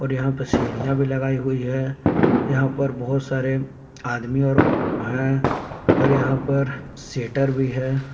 यहां पर सीढ़ियां भी लगाई हुई है यहां पर बहुत सारे आदमी और है और यहां पर शेटर भी है।